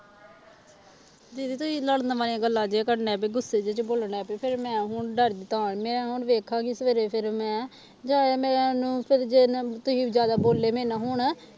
ਦੀਦੀ ਤੁਸੀਂ ਨਾਲੇ ਨਵਾਂ ਹੀ ਗੱਲਾਂ ਜੇ ਕਰਨੇ ਵੀ ਗੁੱਸੇ ਜਿਹੇ ਚ ਬੋਲਣ ਲੱਗ ਪਏ ਫਿਰ ਮੈਂ ਹੁਣ ਮੈਂ ਹੁਣ ਵੇਖਾਂਗੀ ਸਵੇਰੇ ਫਿਰ ਮੈਂ ਜਾਂ ਮੈਨੂੰ ਫਿਰ ਜੇ ਨਾ ਤੁਸੀਂ ਜ਼ਿਆਦਾ ਬੋਲੇ ਮੇਰੇ ਨਾਲ ਹੁਣ